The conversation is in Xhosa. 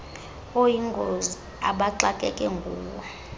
oyingozi abaxakeke nguwo